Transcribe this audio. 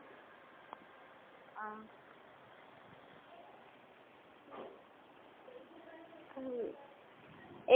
অহ, আৰু